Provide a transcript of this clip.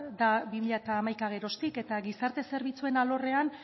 da bi mila hamaika geroztik eta gizarte zerbitzuen alorrean